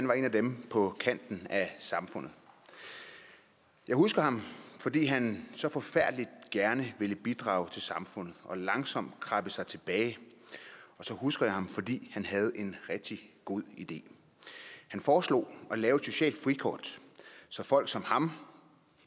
var en af dem på kanten af samfundet jeg husker ham fordi han så forfærdelig gerne ville bidrage til samfundet og langsomt krabbe sig tilbage og så husker jeg ham fordi han havde en rigtig god idé han foreslog at lave et socialt frikort så folk som ham